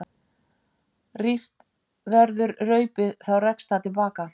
Rýrt verður raupið þá rekst það til baka.